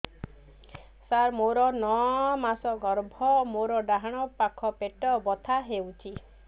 ସାର ମୋର ନଅ ମାସ ଗର୍ଭ ମୋର ଡାହାଣ ପାଖ ପେଟ ବଥା ହେଉଛି